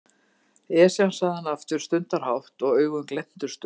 Esjan sagði hann aftur stundarhátt og augun glenntust upp.